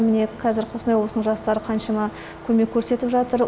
міне қазір қостанай облысының жастары қаншама көмек көрсетіп жатыр